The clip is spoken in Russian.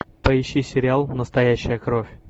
поищи сериал настоящая кровь